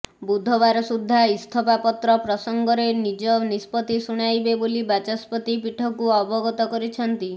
ବୁଧବାର ସୁଦ୍ଧା ଇସ୍ତଫାପତ୍ର ପ୍ରସଙ୍ଗରେ ନିଜ ନିଷ୍ପତ୍ତି ଶୁଣାଇବେ ବୋଲି ବାଚସ୍ପତି ପୀଠକୁ ଅବଗତ କରିଛନ୍ତି